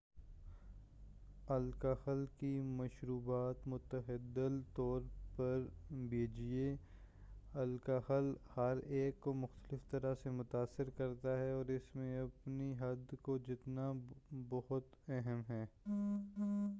الکحل کی مشروبات معتدل طور پر پیجیے الکحل ہر ایک کو مختلف طرح سے متاثر کرتا ہے اور اس میں اپنی حد کو جاننا بہت اہم ہے